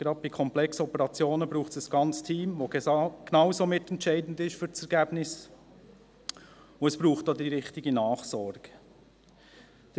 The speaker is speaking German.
Gerade bei komplexen Operationen braucht es ein ganzes Team, welches für das Ergebnis genauso mitentscheidend ist, und es braucht die richtige Nachsorge.